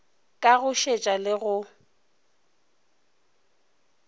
ka go šetša le go